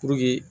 Puruke